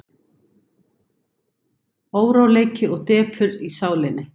Óróleiki og depurð í sálinni.